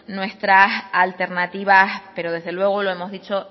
nuestras alternativas pero desde luego lo hemos dicho